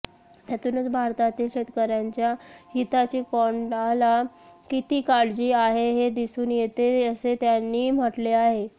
त्यातूनच भारतातील शेतकऱ्यांच्या हिताची कॅनडाला किती काळजी आहे हे दिसून येते असे त्यांनी म्हटले आहे